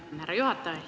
Tänan, härra juhataja!